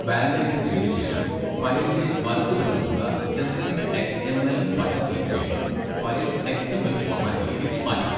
Validate ചെയ്തശേഷം ഫയലിൻ്റെ വലതുവശത്തുള്ള 'generate X. M. L' button click ചെയ്ത് ഫയൽ എക്സ്. എം. എൽ ഫോർമാറ്റിലേക്ക് മാറ്റുക.